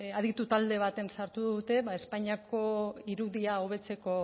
aditu talde batean sartu dute ba espainiako irudia hobetzeko